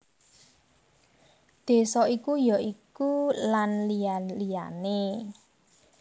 Désa iku ya iku Lan liya liyané